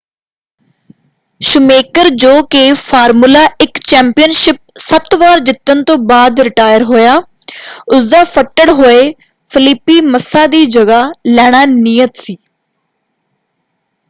Schumacher ਜੋ ਕਿ formula 1 championship ਸੱਤ ਵਾਰ ਜਿੱਤਣ ਤੋਂ ਬਾਅਦ ਰਿਟਾਇਰ ਹੋਇਆ ਉਸ ਦਾ ਫੱਟੜ ਹੋਏ ਫਲੀਪੀ ਮੱਸਾ ਦੀ ਜਗ੍ਹਾ ਲੈਣਾ ਨਿਯਤ ਸੀ।